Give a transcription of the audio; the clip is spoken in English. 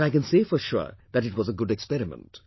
But I can say for sure that it was a good experiment